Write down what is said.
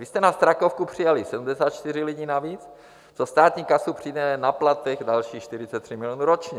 Vy jste na Strakovku přijali 74 lidí navíc, to státní kasu přijde na platech na dalších 43 milionů ročně.